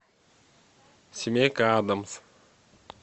семейка адамс